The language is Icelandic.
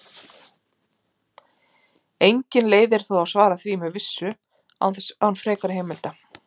Engin leið er þó að svara því með vissu án frekari heimilda.